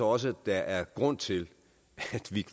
også der er grund til at